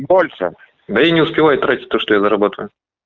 больше да я не успеваю тратить то что я зарабатываю